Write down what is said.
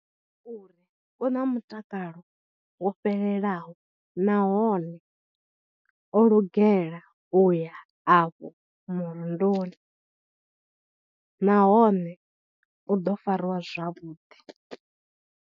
Uri u na mutakalo wo fhelelaho nahone o lugela u ya afho murunduni nahone u ḓo farwa zwavhuḓi.